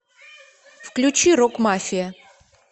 включи рокмафия